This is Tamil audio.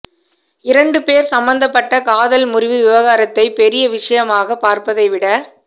இரண்டு பேர் சம்மந்தப்பட்ட காதல் முறிவு விவாகரத்தை பெரிய விஷயமாக பார்ப்பதைவிட